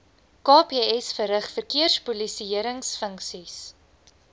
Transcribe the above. kps verrig verkeerspolisiëringfunksies